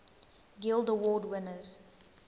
guild award winners